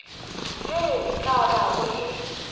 ye e ka bago e